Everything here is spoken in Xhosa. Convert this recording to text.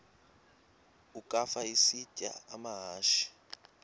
ukafa isitya amahashe